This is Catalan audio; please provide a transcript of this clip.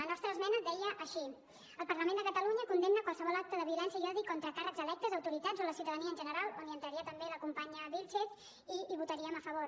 la nostra esmena deia així el parlament de catalunya condemna qualsevol acte de violència i odi contra càrrecs electes autoritats o la ciutadania en general on hi entraria també la companya vílchez i hi votaríem a favor